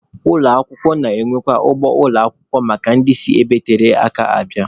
Ụlọ akwụkwọ na-enwekwa ụgbọ ala ụmụakwụkwọ maka ndị si ebe tere aka abịa.